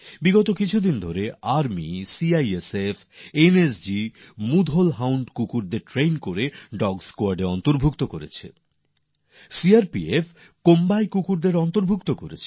গত কিছু সময়ে সিআইএসএফ এনএসজি মুধোল হাউন্ড কুকুরকে প্রশিক্ষণ দিয়ে ডগ স্কোয়াডএ অন্তর্ভুক্ত করেছে সিআরপিএফ কোম্বাই প্রজাতির কুকুরকে অন্তর্ভুক্ত করেছে